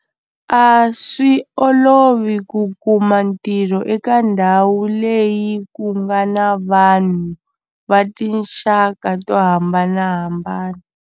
A swi olovi ku kuma ntirho eka ndhawu leyi ku nga na vanhu va tinxaka to hambanahambana.